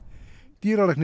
dýralæknir